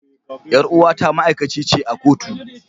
Yar uwata ma'aikaci ce a kotu.